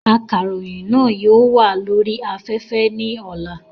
Akàròyìn náà yóò wà lórí afẹ́fẹ́ ní ọlá